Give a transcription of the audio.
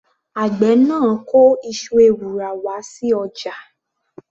Àgbẹ̀ náà kó iṣu ewùrà wá sí ọjà.